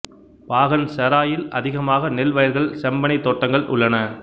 பாகன் செராயில் அதிகமாக நெல் வயல்கள் செம்பனை தோட்டங்கள் உள்ளன